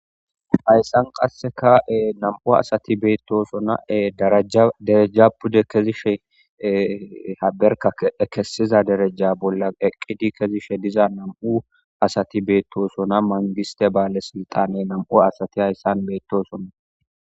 Hayssan qassekae nam'u asati beettosonae daradereja pude kezishe haberka ekesiza dereja bolla eqqidi kezishe diza nam'u asati beettosona mangiste baale siltane nam'u asati hayssan beettosonna